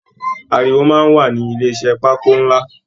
Àríwó máa n wà ní ilé iṣẹ pákó nlá.